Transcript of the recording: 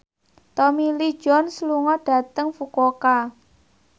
Tommy Lee Jones lunga dhateng Fukuoka